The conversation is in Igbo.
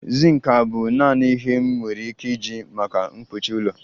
Zink abụ naanị ihe m nwere ike iji maka mkpuchi ụlọ?